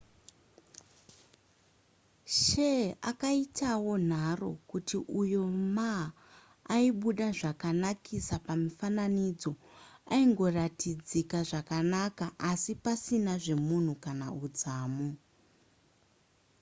hsieh akaitawonharo kuti uyo ma aibuda zvakanakisa pamifananidzo aingoratidzika zvakanaka asi pasina nezvemunhu kana udzamu